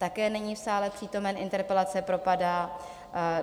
Také není v sále přítomen, interpelace propadá.